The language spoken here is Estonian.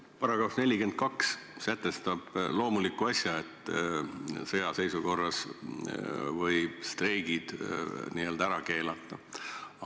Paragrahv 42 sätestab loomuliku asja, et sõjaseisukorra ajal võib streigid ära keelata.